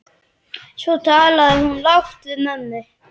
Svo talaði hún lágt við mömmu.